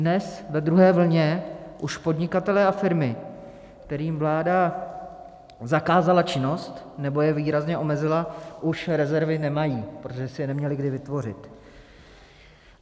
Dnes ve druhé vlně už podnikatelé a firmy, kterým vláda zakázala činnost nebo je výrazně omezila, už rezervy nemají, protože si je neměli kdy vytvořit.